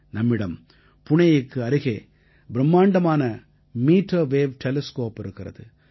நம்மிடம் புணேயுக்கு அருகே பிரும்மாண்டமான மீட்டர் வேவ் டெலிஸ்கோப் இருக்கிறது